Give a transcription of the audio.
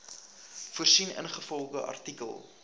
voorsien ingevolge artikel